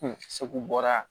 segu bɔra